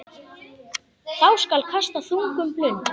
Þá skal kasta þungum blund.